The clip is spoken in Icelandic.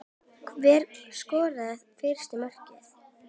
Hver skoraði fyrsta markið?